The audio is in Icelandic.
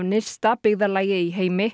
nyrsta byggðarlagi í heimi